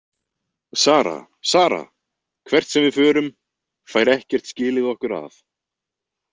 Sara, Sara, hvert sem við förum, fær ekkert skilið okkur að.